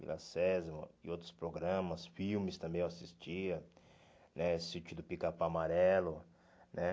Vila Sésamo e outros programas, filmes também eu assistia, né Sítio do Picapau Amarelo, né?